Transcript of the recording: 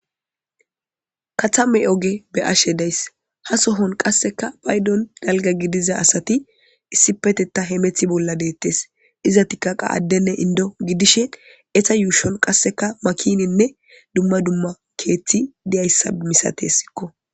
katame oge be ashe days ha sohon qasseka baydon dalga gidiza asati issipeteta hemethi bolla deettes iza tikkaqa addenne indo gidishe eta yuushon qasseka makininne dumma dumma keeththi diyayssa misate sikko